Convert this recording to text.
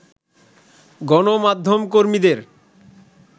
গণমাধ্যম কর্মীদের